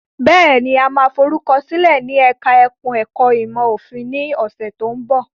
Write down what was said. Bẹ́ẹ̀ni, a máa forúkọ sílẹ̀ ní ẹkùn ẹ̀ka ẹ̀kó ìmọ̀ òfin ní ọ̀sẹ̀ tó ń bọ̀.